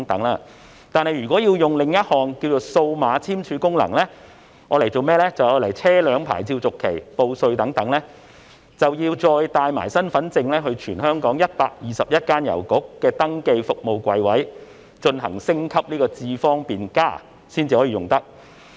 然而，如果要使用另一項數碼簽署功能，作車輛牌照續期、報稅等用途，便要帶同身份證到全港121間郵局的登記服務櫃位，升級至"智方便+"，然後才能使用。